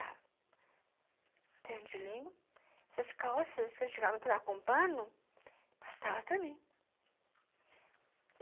O terno de linho, essas calças que a gente chegava a pegar com o pano, passava também.